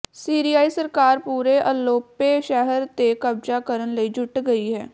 ਸੀਰੀਆਈ ਸਰਕਾਰ ਪੂਰੇ ਅਪੋਲੋ ਸ਼ਹਿਰ ਤੇ ਕਬਜ਼ਾ ਕਰਨ ਲਈ ਜੁੱਟ ਗਈ ਹੈ